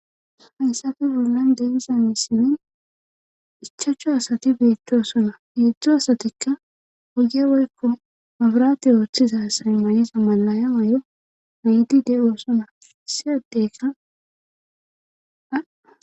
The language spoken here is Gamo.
Haysati bollan deegiza misimin ichachu asati beettosona heedzdzo asatikka woge woykko mabraati ooththiza say mayiza malaya wayo iidi de7uosona siyadeykaa.